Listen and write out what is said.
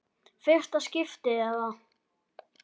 Fyrsta skiptið eða?